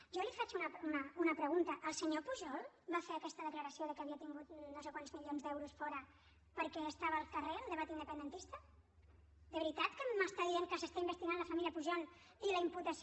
jo li faig una pregunta el senyor pujol va fer aquesta declaració que havia tingut no sé quants milions d’euros fora perquè estava al carrer el debat independentista de veritat que m’està dient que s’està investigant la família pujol i la imputació